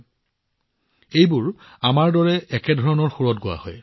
সেইবোৰ একে ধৰণৰ সুৰত আৰু আমি ইয়াত কৰাৰ দৰে এটা উচ্চ পিটছত গোৱা হয়